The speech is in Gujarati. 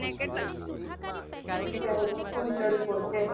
અત્યારે તો ફૂલ તડકો છે